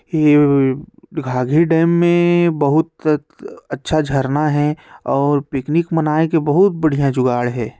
ये घाँघरी डैम मैं बोहत अच्छा झरना है और पिकनिक मनाई के बहुत बढ़िया जुगाड़ हैं ।